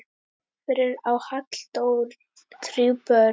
Fyrir á Halldór þrjú börn.